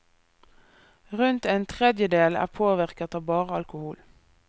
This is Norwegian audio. Rundt en tredjedel er påvirket av bare alkohol.